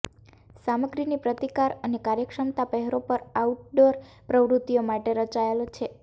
સામગ્રીની પ્રતિકાર અને કાર્યક્ષમતા પહેરો પણ આઉટડોર પ્રવૃત્તિઓ માટે રચાયેલ છે